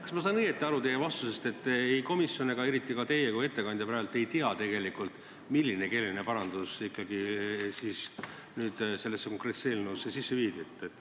Kas ma saan õigesti aru teie vastusest, et ei komisjon ega ka teie kui ettekandja ei tea praegu tegelikult, milline keeleline parandus sellesse eelnõusse sisse viidi?